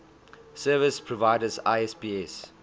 service providers isps